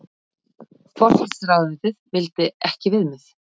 Forsætisráðuneytið vildi ekki viðmið